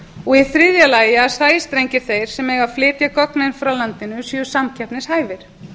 og í þriðja lagi að sæstrengir þeir sem eiga að flytja gögnin frá landinu séu samkeppnishæfir